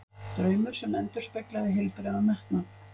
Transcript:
Draumur sem endurspeglaði heilbrigðan metnað.